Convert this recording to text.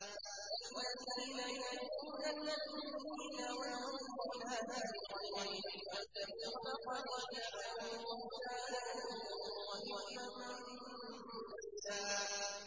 وَالَّذِينَ يُؤْذُونَ الْمُؤْمِنِينَ وَالْمُؤْمِنَاتِ بِغَيْرِ مَا اكْتَسَبُوا فَقَدِ احْتَمَلُوا بُهْتَانًا وَإِثْمًا مُّبِينًا